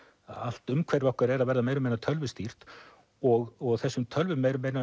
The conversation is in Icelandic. allt umhverfi okkar er að verða meira og minna tölvustýrt og þessum tölvum eru meira